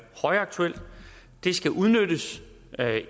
højaktuel det skal udnyttes